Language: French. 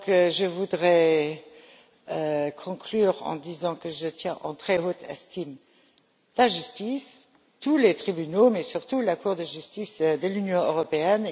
Je voudrais donc conclure en disant que je tiens en très haute estime la justice, tous les tribunaux, mais surtout la Cour de justice de l'Union européenne.